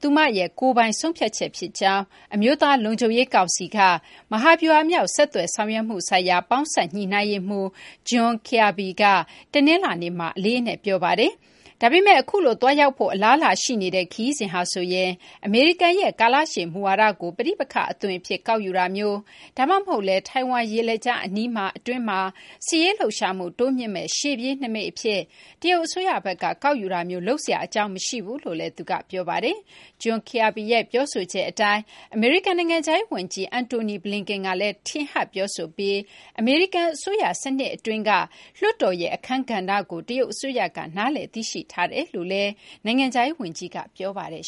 သူမရဲ့ ကိုယ်ပိုင် ဆုံးဖြတ်ချက် ဖြစ်ကြောင်း အမျိုးသား လုံခြုံရေး ကောင်စီက မဟာဗျူဟာမြောက် ဆက်သွယ်ဆောင်ရွက်မှု ဆိုင်ရာပေါင်းစပ် ညှိနှိုင်းရေးမှူး John Kirby က တနလာၤနေ့မှာ အလေးအနက် ပြောပါတယ်။ ဒါပေမဲ့ အခုလို သွားရောက်ဖို့ အလားအလာ ရှိနေတဲ့ ခရီးစဉ်ဟာဆိုရင် အမေရိကန်ရဲ့ ကာလရှည် မူဝါဒကို ပဋိပက္ခ အသွင်အဖြစ် ကောက်ယူတာမျိုး ဒါမှမဟုတ်လည်း ထိုင်ဝမ် ရေလက်ကြား အနီးမှာ အတွင်းမှာ စစ်ရေး လှုပ်ရှားမှု တိုးမြှင့်မယ့် ရှေ့ပြေးနိမိတ် အဖြစ် တရုတ် အစိုးရဘက်က ကောက်ယူတာမျိုး လုပ်စရာ အကြောင်းမရှိဘူးလို့လည်း သူက ပြောပါတယ်။ John Kirby ရဲ့ ပြောဆိုချက် အတိုင်း အမေရိကန် နိုင်ငံခြားရေး ဝန်ကြီး Antony Blinken ကလည်း ထင်ဟပ် ပြောဆိုပြီး အမေရိကန် အစိုးရ စနစ် အတွင်းက လွှတ်တော်ရဲ့ အခန်းကဏ္ဍကို တရုတ် အစိုးရက နားလည် သိရှိထားကြောင်းလည်း နိုင်ငံခြားရေး ဝန်ကြီးက ပြောပါတယ်